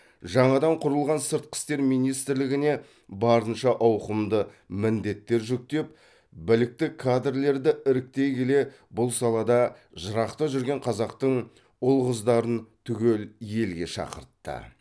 жаңадан құрылған сыртқы істер министрлігіне барынша ауқымды міндеттер жүктеп білікті кадрлерді іріктей келе бұл салада жырақта жүрген қазақтың ұл қыздарын түгел елге шақыртты